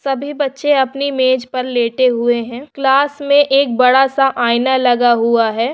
सभी बच्चे अपनी मेज पर लेटे हुए है क्लास में एक बड़ा-सा आईना लगा हुआ है।